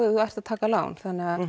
þú sért að taka lán